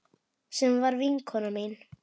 Sem var vinkona mín.